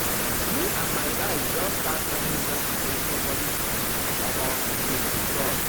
me and my guys just start one yoga challenge for body calm omo e dey sweet us.